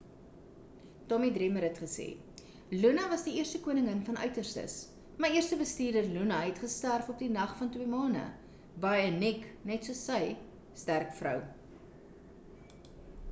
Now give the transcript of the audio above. tommy dreamer het gesê luna was die eerste koningin van uiterstes my eerste bestuurder luna het gesterf op die nag van twee mane baie uniek net soos sy sterk vrou